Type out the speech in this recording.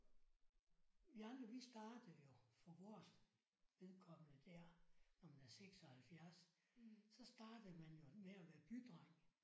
Vi andre vi startede jo for vores vedkommende der når man er 76 så startede man jo med at være bydreng